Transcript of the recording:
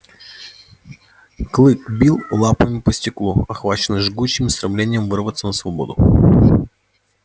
клык бил лапами по стеклу охваченный жгучим стремлением вырваться на свободу